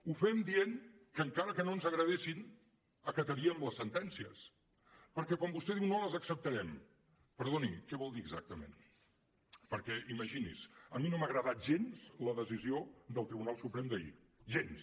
ho fem dient que encara que no ens agradessin acataríem les sentències perquè quan vostè diu no les acceptarem perdoni què vol dir exactament perquè imagini’s a mi no m’ha agradat gens la decisió del tribunal suprem d’ahir gens